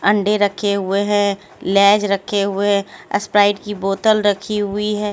अंडे रखे हुए हैं लेज़ रखे हुए स्प्राइट की बोतल रखी हुई है।